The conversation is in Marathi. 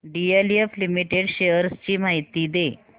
डीएलएफ लिमिटेड शेअर्स ची माहिती दे